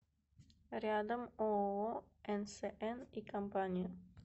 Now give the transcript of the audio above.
рядом ооо нсн и компания